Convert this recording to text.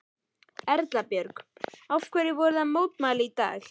Erla Björg: Hverju voru þið að mótmæla í dag?